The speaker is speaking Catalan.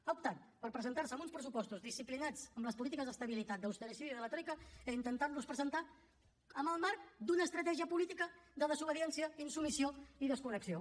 ha optat per presentar se amb uns pressupostos disciplinats amb les polítiques d’estabilitat d’ austericidi de la troica i intentar los presentar en el marc d’una estratègia política de desobediència insubmissió i desconnexió